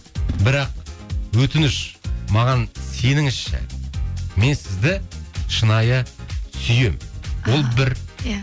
бірақ өтініш маған сеніңізші мен сізді шынайы сүйемін ол бір иә